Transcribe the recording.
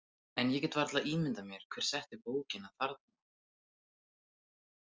En ég get varla ímyndað mér hver setti bókina þarna.